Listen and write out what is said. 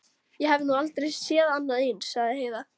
Ég hef nú aldrei séð annað eins, sagði Heiða.